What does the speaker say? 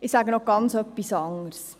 Ich sage noch etwas ganz anderes.